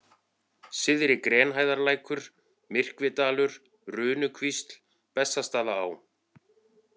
Syðri-Grenhæðarlækur, Myrkvidalur, Runukvísl, Bessastaðaá